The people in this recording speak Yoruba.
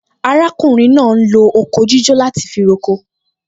Arákùnrin náà ń lo oko jíjó láti fi roko